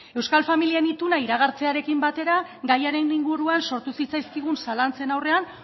euskal familien ituna iragartzearen batera gaiaren inguruan sortu zitzaizkigun zalantzen aurrean